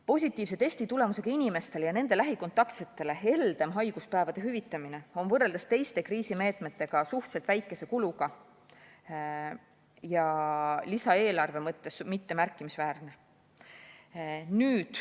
Positiivse testitulemusega inimestele ja nende lähikontaktsetele heldem haiguspäevade hüvitamine on võrreldes teiste kriisimeetmetega suhteliselt väikese kuluga ja lisaeelarve mõttes mitte märkimisväärne.